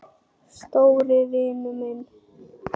Stóri vinur minn.